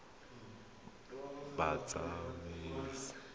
batsamaisi